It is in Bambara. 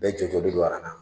Bɛɛ don a kanna